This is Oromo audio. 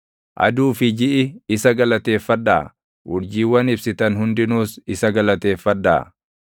Aduu fi jiʼi isa galateeffadhaa; urjiiwwan ibsitan hundinuus isa galateeffadhaa.